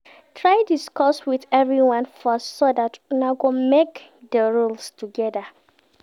Try discuss with everyone first so that Una go make the rules together